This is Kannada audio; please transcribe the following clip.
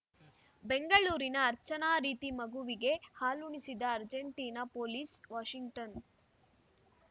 ಬೆಂಗಳೂರಿನ ಅರ್ಚನಾ ರೀತಿ ಮಗುವಿಗೆ ಹಾಲುಣಿಸಿದ ಅರ್ಜೆಂಟೀನಾ ಪೊಲೀಸ್‌ ವಾಷಿಂಗ್ಟನ್‌